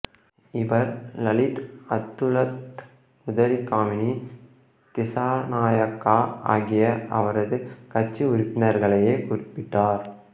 இவர் லலித் அத்துலத்முதலி காமினி திசாநாயக்கா ஆகிய அவரது கட்சி உறுப்பினர்களையே குறிப்பிட்டார்